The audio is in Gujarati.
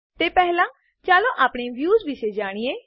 તે પહેલા ચાલો આપણે વ્યુંસ વિશે જાણીએ